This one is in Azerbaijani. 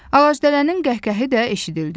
Ağacdələnin qəhqəhi də eşidildi.